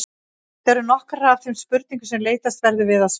Þetta eru nokkrar af þeim spurningum sem leitast verður við að svara.